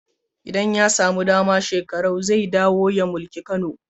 Idan ya samu dama, Shekarau zai dawo ya mulki Kano.